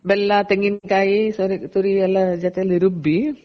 ಬೆಲ್ಲ ತೆಂಗಿನ ಕಾಯಿ ತುರಿ ಎಲ್ಲ ಜೊತೇಲಿ ರುಬ್ಬಿ